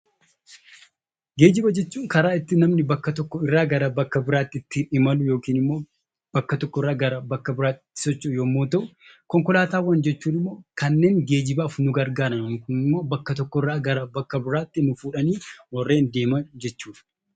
Geejiba jechuun karaa ittiin namni tokko bakka tokkoo gara bakka biraatti ittiin imalu yookaan immoo bakka tokkoo gara bakka biraatti ittiin socho'u yemmuu ta'u, konkolaataawwan jechuun immoo kanneen geejibaaf nu gargaaran yookaan immoo bakka tokkoo gara bakka biraatti nu fuudhanii warreen deeman jechuudha.